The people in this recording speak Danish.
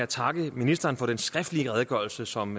takke ministeren for den skriftlige redegørelse som